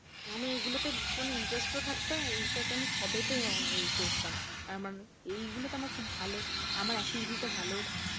আমরা এগুলোতে ভীষণ interest ও থাকতো in fact আমি সবেতে ইয়ে করতাম। আমার এইগুলতে আমার খুব ভালো আমার activity টা ভালো থাকতো।